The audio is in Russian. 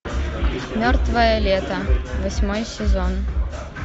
мертвое лето восьмой сезон